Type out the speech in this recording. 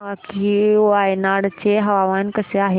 मला सांगा की वायनाड चे हवामान कसे आहे